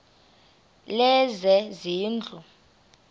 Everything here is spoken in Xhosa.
lezezindlu